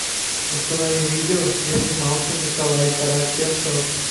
установи видео где снимался николай караченцов